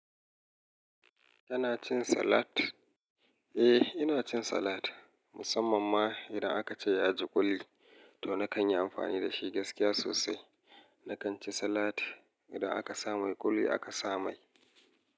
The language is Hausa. Kana cin salat? Eh, ina cin salat musamman ma idan aka ce ya ji kuli to na kan yi amfani da shi gaskiya sosai. Na kan ci salat idan aka sa mai kuli aka sa mai.